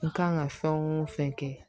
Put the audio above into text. N kan ka fɛn o fɛn kɛ